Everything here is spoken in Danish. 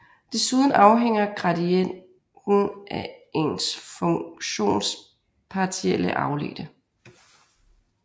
Desuden afhænger gradienten af en funktions partielle afledte